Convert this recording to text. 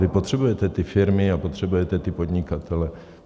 Vy potřebujete ty firmy a potřebujete ty podnikatele.